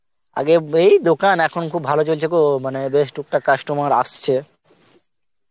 আগে এই দোকান এখন খুব ভালো চলছে গো মানে বেশ টুকটাক customer আসছে